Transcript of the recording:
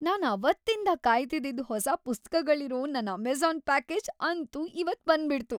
ನಾನ್ ಅವತ್ತಿಂದ‌ ಕಾಯ್ತಿದ್ದಿದ್‌ ಹೊಸ ಪುಸ್ತಕಗಳಿರೋ ನನ್‌ ಅಮೆಜ಼ಾನ್‌ ಪ್ಯಾಕೇಜ್‌ ಅಂತೂ ಇವತ್‌ ಬಂದ್ಬಿಡ್ತು!